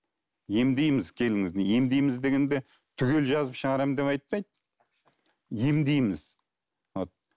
емдейміз келіңіз емдейміз дегенде түгел жазып шығарамын деп айтпайды емдейміз вот